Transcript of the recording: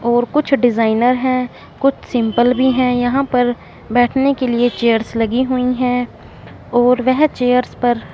और कुछ डिजाइनर है। कुछ सिंपल भी है। यहां पर बैठने के लिए चेयर्स लगी हुई है और वेह चेयर्स पर--